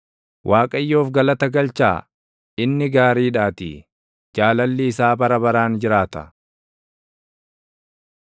Waaqayyoof galata galchaa; inni gaariidhaatii; jaalalli isaa bara baraan jiraata.